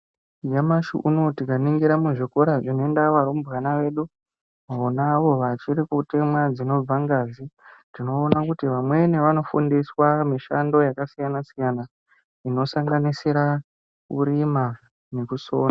Nyamashi uno tikaningira zvikora zvinoenda varumbwana vedu vonavo vachiri kutemwa dzinobva ngazi, tinoona kuti vamweni vanofundiswa mishando yakasiyana siyana inosanganisira kurima nekusona.